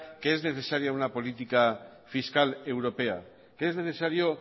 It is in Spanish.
que es necesaria una política fiscal europea que es necesario